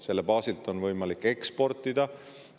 Selle baasilt on võimalik eksportida.